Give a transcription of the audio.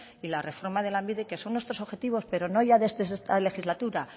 y la reforma de lanbide que son nuestros objetivos pero no ya desde esta legislatura